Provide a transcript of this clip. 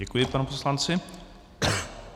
Děkuji panu poslanci.